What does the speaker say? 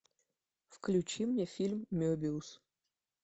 включи мне фильм мебиус